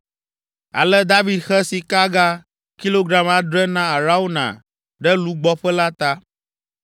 Ale David xe sikaga kilogram adre na Arauna ɖe lugbɔƒe la ta.